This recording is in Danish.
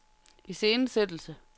iscenesættelse